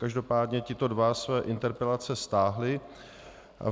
Každopádně tito dva své interpelace stáhli.